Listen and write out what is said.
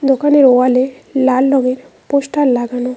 দোকানের ওয়ালে লাল রঙের পোস্টার লাগানো।